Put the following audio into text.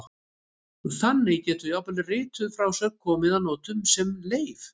Þannig getur jafnvel rituð frásögn komið að notum sem leif.